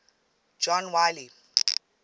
john wiley